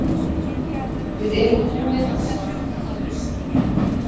Við erum búnir að sjá þetta gerast.